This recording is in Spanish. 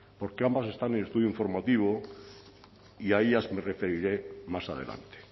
porque ambas están en estudio informativo y a ellas me referiré más adelante